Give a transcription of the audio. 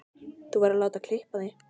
Þú verður að láta klippa þig.